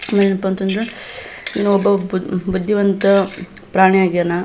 ಏನಪ್ಪಾ ಅಂತಂದ್ರ ಇನೊಬ್ಬ ಬುದ್ದಿವಂತ ಪ್ರಾಣಿ ಆಗ್ಯಾನ.